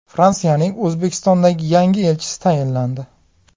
Fransiyaning O‘zbekistondagi yangi elchisi tayinlandi.